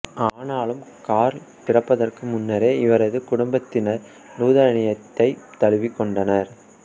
ஆனாலும் கார்ல் பிறப்பதற்கு முன்னரே இவரது குடும்பத்தினர் லூதரனியத்தைத் தழுவிக் கொண்டனர்